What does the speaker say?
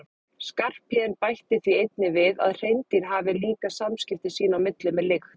Skarphéðinn bætti því einnig við að hreindýr hafi líka samskipti sín á milli með lykt.